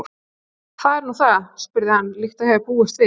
Hvað er nú það? spurði hann, líkt og ég hafði búist við.